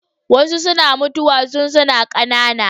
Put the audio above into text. Wasu suna mutuwa tun suna ƙanana.